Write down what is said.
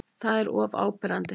Það er of áberandi.